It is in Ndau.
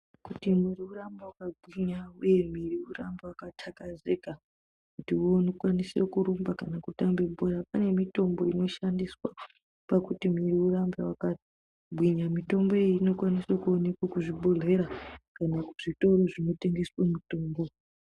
Kuti mwiri urambe wakagwinya uye mwiri urambe wakathlakazika kuti ukwanise kurumba kana kutambe bhora pane mitombo inoshandiswa kuti mwiri urambe wakagwinya mitomboyo inokwanise kuoneke kuzvibhehleya kana kuzvitoro zvinotengeswe mitombo.